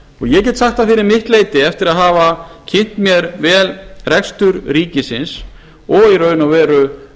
ég get sagt það fyrir mitt leyti eftir að hafa kynnt mér vel rekstur ríkisins og í raun og veru